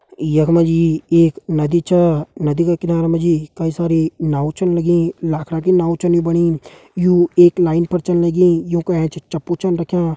यख मा जी एक नदी छ नदी का किनारे मा जी कई सारी नाव छन लगीं लाखड़ा की नाव छन यू बणी यू एक लाइन पर चलण लगीं यू का ऐंच चप्पू छन रख्यां‌।